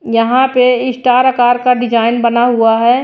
यहां पे स्टार आकार का डिजाइन बना हुआ है।